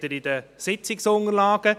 Das sehen Sie in den Sitzungsunterlagen.